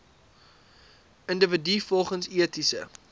individue volgens etiese